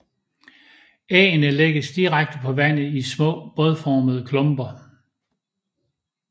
Æggene lægges direkte på vandet i små bådformede klumper